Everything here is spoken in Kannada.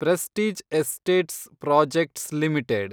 prestige Estates Projects limited